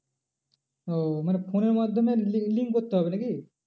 ও মানে phone এর মাধ্যমে link করতে হবে না কি?